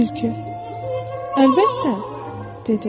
Tülkü: Əlbəttə, dedi.